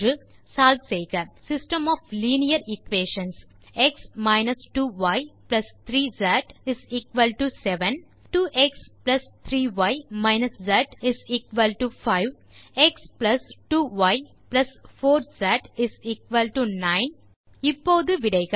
solve செய்க system of linear equations x 2y3z 7 2x3y z 5 x2y4z 9 இப்போது விடைகள்